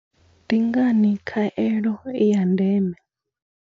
Ndi ngani khaelo i ya ndeme?